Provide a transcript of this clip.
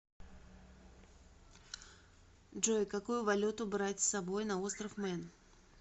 джой какую валюту брать с собой на остров мэн